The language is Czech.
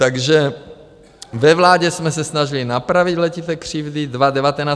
Takže ve vládě jsme se snažili napravit letité křivdy.